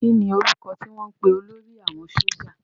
Kí ni orúkọ tí wọ́n ń pè olórí àwọn sójà?